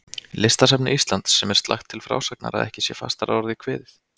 Listasafni Íslands, sem er slakt til frásagnar, að ekki sé fastar að orði kveðið.